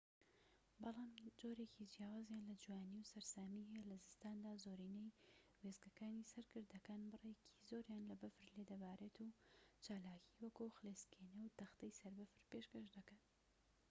بەڵام جۆرێکی جیاوازیان لە جوانی و سەرسامی هەیە لە زستاندا زۆرینەی وێستگەکانی سەر گردەکان بڕێکی زۆریان لە بەفر لێ دەبارێت و چالاکیی وەکو خلیسکێنە و تەختەی سەر بەفر پێشکەش دەکەن